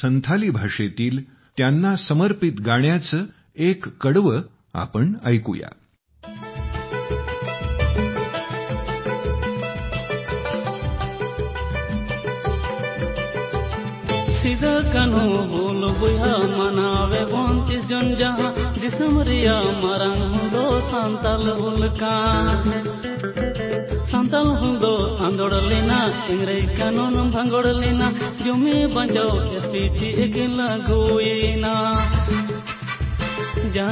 संथाली भाषेतील त्यांना समर्पित गाण्याचे एक कडवे आपण ऐकूया -